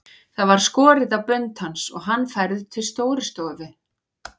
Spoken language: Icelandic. Það var skorið á bönd hans og hann færður til Stórustofu.